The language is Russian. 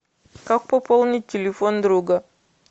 как пополнить телефон друга